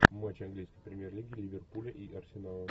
матч английской премьер лиги ливерпуля и арсенала